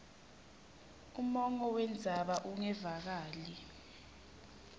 umongo wendzaba ungevakali